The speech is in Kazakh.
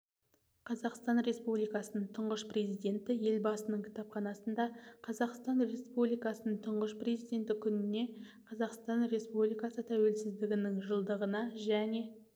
қазақстан республикасының тұңғыш президенті елбасының кітапханасында қазақстан республикасының тұңғыш президенті күніне қазақстан республикасы тәуелсіздігінің жылдығына және